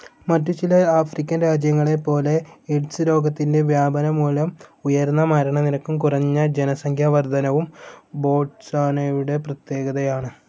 മറ്റുചില ആഫ്രിക്കൻ രാജ്യങ്ങളെപ്പോലെ എയ്ഡ്സ്‌ രോഗത്തിൻ്റെ വ്യാപനം മൂലം ഉയർന്ന മരണനിരക്കും കുറഞ്ഞ ജനസംഖ്യാവർധനവും ബോട്സ്വാനയുടെ പ്രത്യേകതയാണ്.